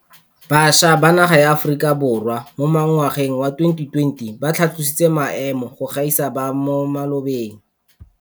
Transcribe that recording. Bašwa ba naga ya Aforika Borwa mo ngwageng wa 2020 ba tlhatlositse maemo go gaisa a ba mo malobeng.